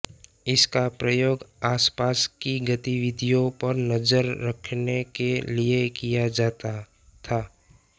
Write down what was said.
इसका प्रयोग आसपास की गतिविधियों पर नजर रखने के लिए किया जाता था